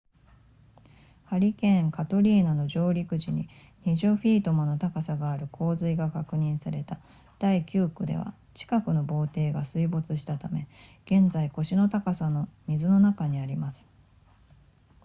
ハリケーンカトリーナの上陸時に20フィートもの高さがある洪水が確認された第九区では近くの堤防が水没したため現在腰の高さの水の中にあります